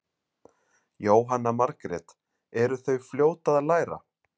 Jóhanna Margrét: Eru þau fljót að læra?